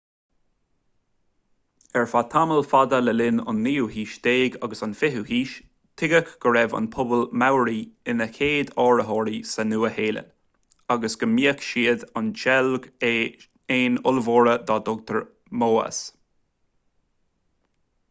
ar feadh tamall fada le linn an naoú haois déag agus an fichiú haois tuigeadh go raibh an pobal maori ina chéad áitritheoirí sa nua shéalainn agus go mbíodh siad ag seilg éin ollmhóra dá dtugtar moas